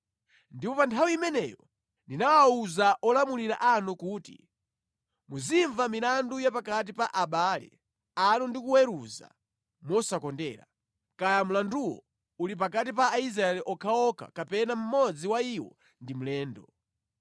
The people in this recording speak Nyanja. Ndipo pa nthawi imeneyo ndinawawuza olamula anu kuti, “Muzimva milandu ya pakati pa abale anu ndi kuweruza mosakondera, kaya mlanduwo uli pakati pa Aisraeli okhaokha kapena mmodzi wa iwo ndi mlendo.